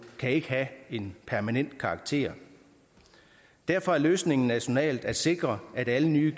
kan ikke have en permanent karakter derfor er løsningen nationalt at sikre at alle nye